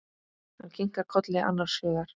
Hann kinkar kolli annars hugar.